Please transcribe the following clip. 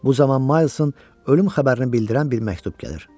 Bu zaman Maysın ölüm xəbərini bildirən bir məktub gəlir.